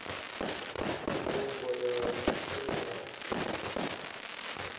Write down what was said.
mvumbo ya mutsho na kilima